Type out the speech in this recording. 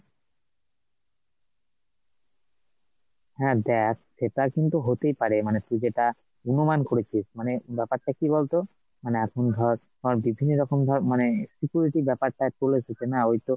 হ্যাঁ দেখ, সেটা কিন্তু হতেই পারে মানে তুই যেটা অনুমান করেছিস মানে ব্যাপারটা, কি বলতো মানে এখন ধর, ধর বিভিন্নরকম ভাবে মানে security র ব্যাপারটা চলে এসেছে না ,